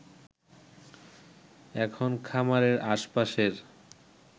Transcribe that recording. এখন খামারের আশ-পাশের